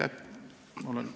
Aitäh!